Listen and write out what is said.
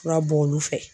Fura bɔ olu fɛ